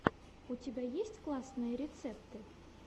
у тебя есть классные рецепты